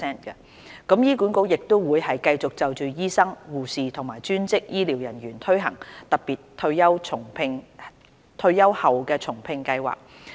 醫管局亦會繼續就醫生、護士和專職醫療人員推行特別退休後重聘計劃。